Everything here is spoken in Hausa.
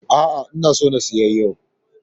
A'a, ina so na siya yau.